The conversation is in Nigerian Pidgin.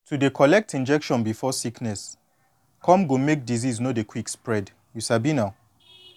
to dey collect injection before sickness come go make disease no dey quick spread you sabi na